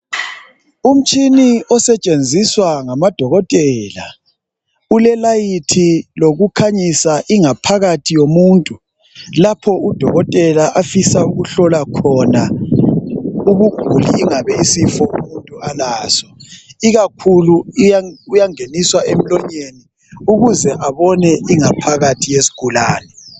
Umtshini osetshenziswa ngamadokotela ulelayithi lokukhanyisa ingaphakathi yomuntu lapho udokotela afisa ukuhlola khona ubuguli ingabe isifo umuntu alaso, ikakhulu uyangeniswa emlonyeni ukuze abone ingaphakathi yesigulane.